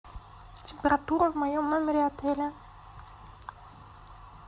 температура в моем номере отеля